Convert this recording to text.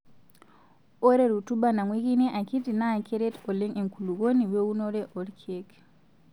Ore rutuba nang'uikini akiti naa kereet oleng enkulukuoni weunore oorkiek.